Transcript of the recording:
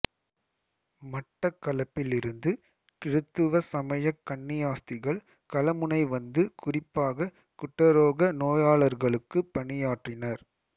மட்டக்களப்பிலிருந்து கிறித்தவ சமயக் கன்னியாஸ்திகள் கலமுனை வந்து குறிப்பாக குட்டரோக நோயாளர்களுக்கு பணியாற்றினர்